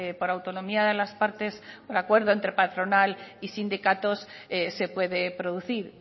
por autonomía de las partes por acuerdo entre patronal y sindicatos se puede producir